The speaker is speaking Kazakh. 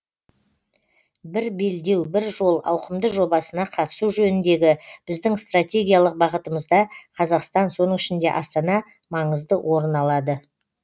бір белдеу бір жол ауқымды жобасына қатысу жөніндегі біздің стратегиялық бағытымызда қазақстан соның ішінде астана маңызды орын алады